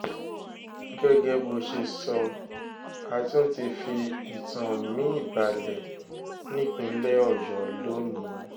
gẹ́gẹ́ bó ṣe sọ a tún ti fi ìtàn mi-ín balẹ̀ nípìnlẹ̀ ọ̀yọ́ lónìí